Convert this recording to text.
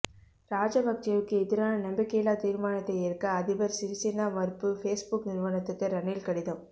ராஜபக்சேவுக்கு எதிரான நம்பிக்கையில்லா தீர்மானத்தை ஏற்க அதிபர் சிறிசேனா மறுப்பு பேஸ்புக் நிறுவனத்துக்கு ரணில் கடிதம்